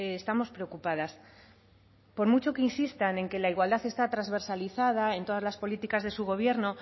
estamos preocupadas por mucho que insistan en que la igualdad está transversalizada en todas las políticas de su gobierno